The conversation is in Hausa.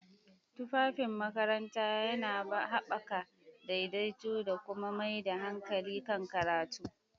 Tufafin makaranta yana haɓaka daidaito da kuma mai da hankali kan karatu.